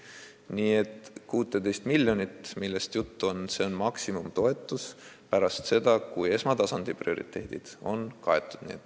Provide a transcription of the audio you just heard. Need 16 miljonit, millest jutt on, on maksimumtoetus pärast seda, kui esmatasandi prioriteedid on kaetud.